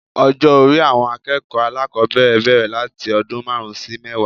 Ọjó orí àwọn akéèkòó alákòbéèrè béèrè láti ọdún máàrún sí mẹ́wàá